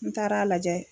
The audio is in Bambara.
N taara a lajɛ